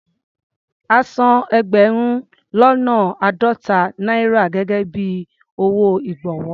A san ẹgbẹ̀rún lọ́nà àádọ́ta náírà gẹ́gẹ́ bí owó ìgbọ̀wọ́.